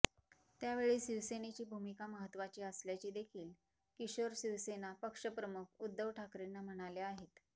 त्यावेळी शिवसेनेची भूमिका महत्त्वाची असल्याचे देखील किशोर शिवसेना पक्षप्रमुख उद्धव ठाकरेंना म्हणाले आहेत